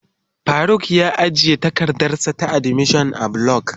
Faruk ya ajiye takardarsa ta admission a block.